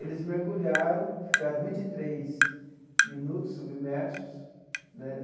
Eles mergulharam, ficaram vinte e três minutos submersos né.